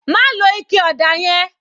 Má lo ike ọ̀dà yẹn